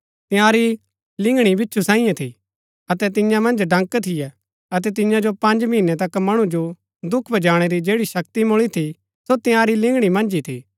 तंयारी लिंगणी बिच्छु सांईये थी अतै तियां मन्ज डंक थियै अतै तियां जो पँज महीनै तक मणु जो दुख पुजाणै री जैड़ी शक्ति मूळी थी सो तंयारी लिंगणी मन्ज ही थी